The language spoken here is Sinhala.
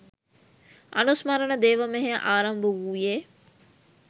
අනුස්මරණ දේව මෙහෙය ආරම්භ වූයේ